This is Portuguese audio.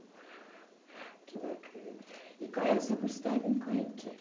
Que bacana. E eh o seu curso técnico é em quê?